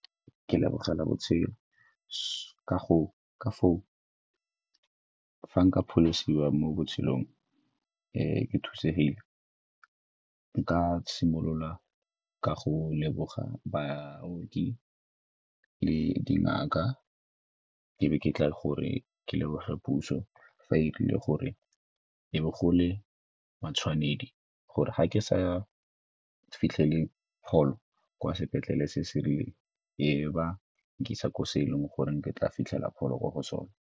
Ke lebogela botshelo ka foo, fa nka pholosiwa ka mo botshelong ke thusegile nka simolola ka go leboga baoki le dingaka, ke be ke tla gore ke leboge puso fa e dirile gore e be go le matshwanedi gore ga ke sa fitlhele pholo kwa sepetlele se se rileng e be ba nkisa ko se e leng gore ke tla fitlhela pholo kwa go sone.